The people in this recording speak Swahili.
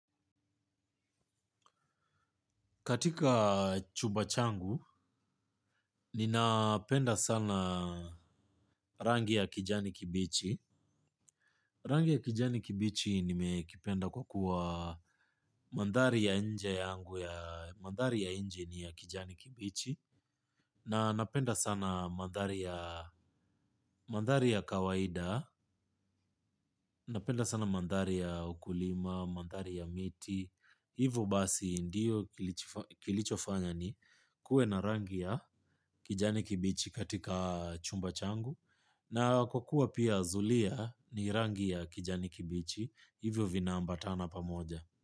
Katika chuba changu, ninapenda sana rangi ya kijani kibichi. Rangi ya kijani kibichi nimekipenda kwa kuwa mandhari ya nje yangu, ya mandhari ya nje ni ya kijani kibichi. Na napenda sana mandhari ya kawaida napenda sana mandhari ya ukulima mandhari ya miti. Hivyo basi ndiyo kilichofanya ni kuwe na rangi ya kijani kibichi katika chumba changu. Na kukua pia zulia ni rangia kijani kibichi hivyo vinaambatana pamoja.